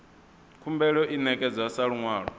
khumbelo i ṋekedzwa sa luṅwalo